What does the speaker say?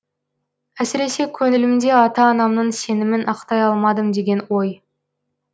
әсіресе көңілімде ата анамның сенімін ақтай алмадым деген ой